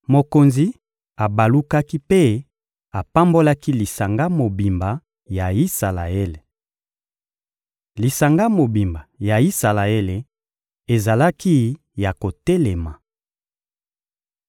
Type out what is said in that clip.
Mokonzi abalukaki mpe apambolaki lisanga mobimba ya Isalaele. Lisanga mobimba ya Isalaele ezalaki ya kotelema.